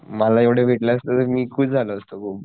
मला एवढे भेटले असते तर मी खुश झालो असतो भाऊ